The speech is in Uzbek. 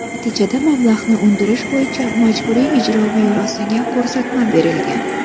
Natijada mablag‘ni undirish bo‘yicha Majburiy ijro byurosiga ko‘rsatma berilgan.